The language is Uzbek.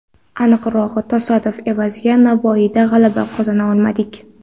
Aniqrog‘i, tasodif evaziga Navoiyda g‘alaba qozona olmadik.